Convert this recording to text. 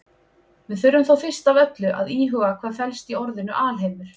Við þurfum þó fyrst af öllu að íhuga hvað felst í orðinu alheimur.